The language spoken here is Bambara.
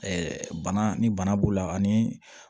bana ni bana b'u la ani